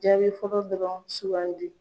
Jaabi fɔlɔ dɔrɔn sugandi.